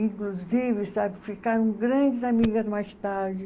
Inclusive, sabe, ficaram grandes amigas mais tarde.